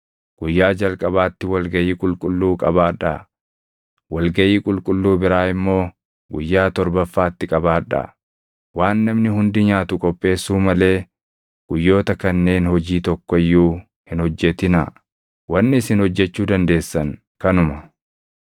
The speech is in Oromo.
Guyyaa jalqabaatti wal gaʼii qulqulluu qabaadhaa; wal gaʼii qulqulluu biraa immoo guyyaa torbaffaatti qabaadhaa. Waan namni hundi nyaatu qopheessuu malee guyyoota kanneen hojii tokko iyyuu hin hojjetinaa; wanni isin hojjechuu dandeessan kanuma.